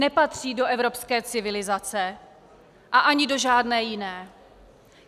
Nepatří do evropské civilizace a ani do žádné jiné.